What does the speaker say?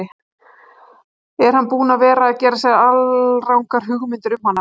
Er hann búinn að vera að gera sér alrangar hugmyndir um hana?